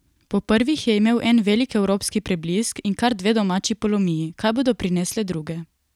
Po prvih je imel en velik evropski preblisk in kar dve domači polomiji, kaj bodo prinesle druge?